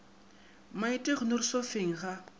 maite o ikgonere sofeng ga